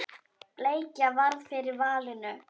Bleikja varð fyrir valinu.